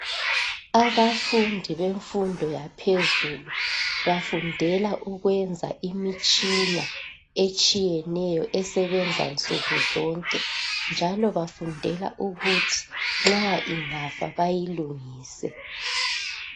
Abafundi bemfundo yaphezulu, bafundela ukwenza imitshina etshiyeneyo esebenza nsuku zonke, njalo bafundela ukuthi nxa ingafa bayilungise.